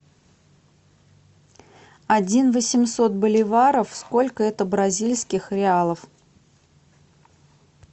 один восемьсот боливаров сколько это бразильских реалов